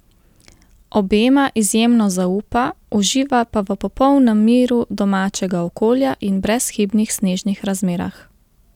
Obema izjemno zaupa, uživa pa v popolnem miru domačega okolja in brezhibnih snežnih razmerah.